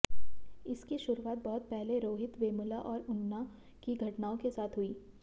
इसकी शुरूआत बहुत पहले रोहिथ वेमुला और उना की घटनाओं के साथ हुई